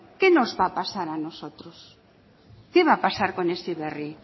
qué nos va a pasar a nosotros qué va a pasar con heziberri